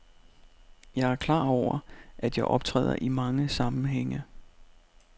Jeg er klar over, at jeg optræder i mange sammenhænge.